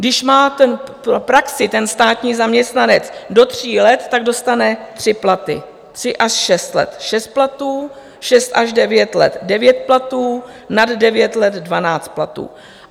Když má praxi, ten státní zaměstnanec, do tří let, tak dostane tři platy, tři až šest let - šest platů, šest až devět let - devět platů, nad devět let - dvanáct platů.